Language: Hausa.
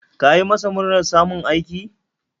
Ka yi masa murnar samun aiki?